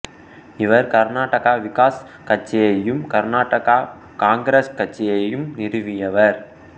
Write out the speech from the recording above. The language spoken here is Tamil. இவர் கருநாடக விகாஸ் கட்சியையும் கருநாடக காங்கிரசு கட்சியையும் நிறுவியவர்